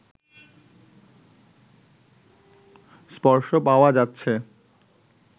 স্পর্শ পাওয়া যাচ্ছে